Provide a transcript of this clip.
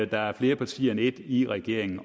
der er flere partier end et i regeringen